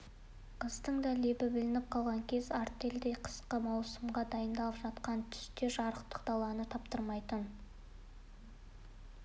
қыстың да лебі білініп қалған кез артель енді қысқы маусымға дайындалып жатқан түсте жарықтық даланың таптырмайтын